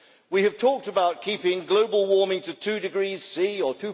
We have talked about keeping global warming to 2°C or